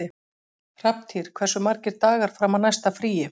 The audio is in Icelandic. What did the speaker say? Hrafntýr, hversu margir dagar fram að næsta fríi?